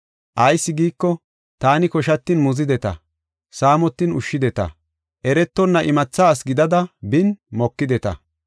Ayis giiko, taani koshatin muzideta, saamotin ushshideta, eretonna imatha asi gidada bin mokideta,